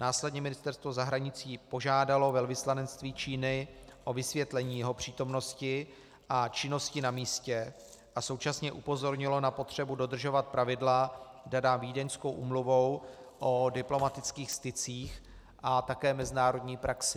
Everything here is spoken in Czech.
Následně Ministerstvo zahraničí požádalo velvyslanectví Číny o vysvětlení jeho přítomnosti a činnosti na místě a současně upozornilo na potřebu dodržovat pravidla daná Vídeňskou úmluvou o diplomatických stycích a také mezinárodní praxi.